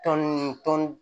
Tɔn